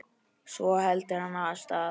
Svo heldur hann af stað.